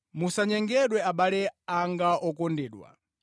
Musanyengedwe abale anga okondedwa.